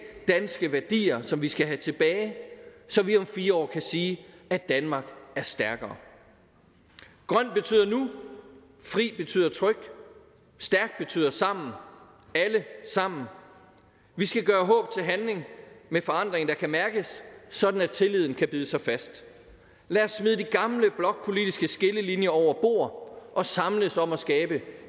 danske værdier som vi skal have tilbage så vi om fire år kan sige at danmark er stærkere grøn betyder nu fri betyder trygt stærkt betyder sammen alle sammen vi skal gøre håb til handling med forandring der kan mærkes sådan at tilliden kan bide sig fast lad os smide de gamle blokpolitiske skillelinjer over bord og samles om at skabe